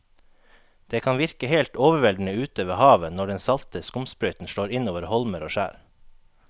Det kan virke helt overveldende ute ved havet når den salte skumsprøyten slår innover holmer og skjær.